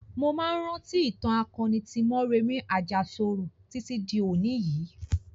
Mo máa ń rántí ìtàn akoni tí Mọ́remí Àjàṣorò títí di òní yìí.